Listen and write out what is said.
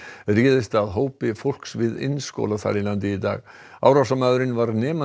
réðst að hópi fólks við iðnskóla í Finnlandi í dag árásarmaðurinn var nemandi